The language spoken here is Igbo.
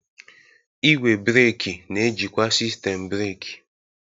Igwe breeki na-ejikwa sistemu breeki.